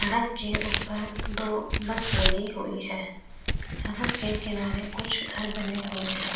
सड़क के उपर दो बस लगी हुई हैं सड़क के किनारे कुछ घर बने हुए हैं।